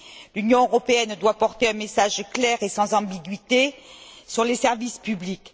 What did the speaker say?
L'Union européenne doit porter un message clair et sans ambiguïté sur les services publics.